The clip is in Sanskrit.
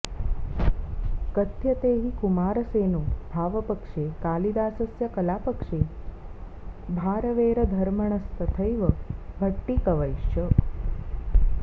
कथ्यते हि कुमारसेनो भावपक्षे कालिदासस्य कलापक्षे भारवेरधमर्णस्तथैव भट्टिकवैश्च